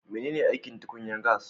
Menene aikin tukunyan gas?